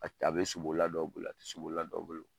A ta a be sogola dɔw bolo, a ti sogola dɔ bolo.